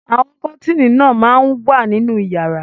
Àwọn kọ́tíínì náà máa ń wà nínú ìyàrá.